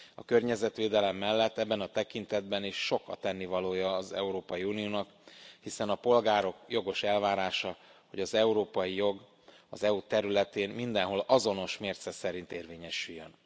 A környezetvédelem mellett ebben a tekintetben is sok a tennivalója az Európai Uniónak, hiszen a polgárok jogos elvárása, hogy az európai jog az EU területén mindenhol azonos mérce szerint érvényesüljön.